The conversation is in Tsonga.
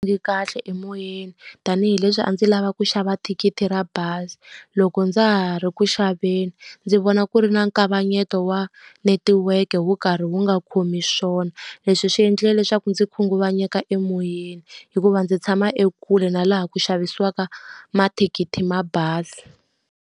kahle emoyeni tanihileswi a ndzi lava ku xava thikithi ra bazi. Loko ndza ha ri ku xaveni, ndzi vona ku ri na nkavanyeto wa netiweke wu ka karhi wu nga khomi swona. Leswi swi endlile leswaku ndzi khunguvanyeka emoyeni, hikuva ndzi tshama ekule na laha ku xavisiwaka mathikithi ya bazi.